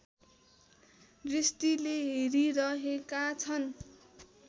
दृष्टिले हेरिरहेका छन्